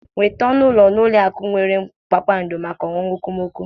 Nweta ọnụ ụlọ n'ụlọ nkwari akụ nwere kpakpando maka ọnụnọ okomoko.